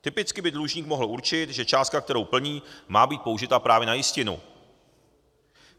Typicky by dlužník mohl určit, že částka, kterou plní, má být použita právě na jistinu.